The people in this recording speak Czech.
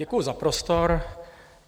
Děkuju za prostor.